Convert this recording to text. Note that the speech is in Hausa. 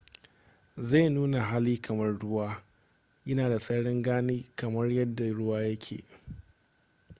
zai nuna hali kamar ruwa yana da sararin gani kamar yadda ruwa yake